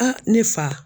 ne fa